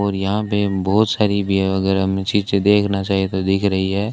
और यहां पे बहोत सारी देखना चाहिए तो दिख रही है।